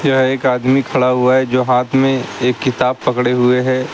यह एक आदमी खड़ा हुआ है जो हाथ में एक किताब पकड़े हुए हैं।